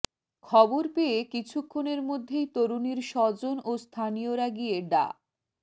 খবর পেয়ে কিছুক্ষণের মধ্যেই তরুণীর স্বজন ও স্থানীয়রা গিয়ে ডা